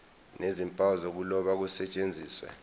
nezimpawu zokuloba kusetshenziswe